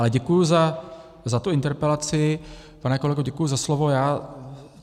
Ale děkuji za tu interpelaci, pane kolego, děkuji za slovo.